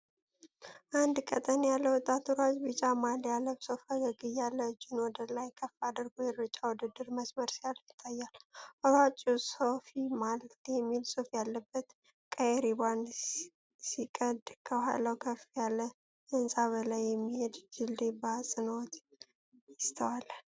አንድ ቀጠን ያለ ወጣት ሯጭ ቢጫ ማሊያ ለብሶ ፈገግ እያለ፤ እጁን ወደ ላይ ከፍ አድርጎ የሩጫ ውድድር መስመር ሲያልፍ ይታያል። ሯጩ "ሶፊ ማልት" የሚል ጽሑፍ ያለበትን ቀይ ሪባን ሲቀድ፤ ከኋላው ከፍ ያለ ህንጻና በላይ የሚሄድ ድልድይ በአጽንዖት ይስተዋላል።